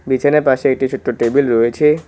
বিছানার পাশে একটি ছোট্ট টেবিল রয়েছে